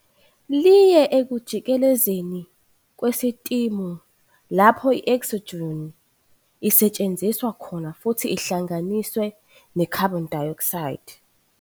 liye ekujikelezeni kwesistimu - lapho i-oxygen isetshenziswa khona futhi ihlanganiswe ne-carbon dioxide.